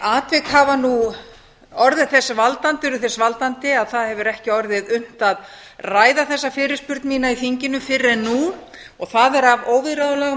atvik hafa nú orðið þess valdandi að það hefur ekki orðið unnt að ræða þessa fyrirspurn mína í þinginu fyrr en nú en það er af óviðráðanlegum